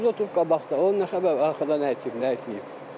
Tüklə oturub qabaqda, o nə səbəbə arxada nə itirib, nə etməyib.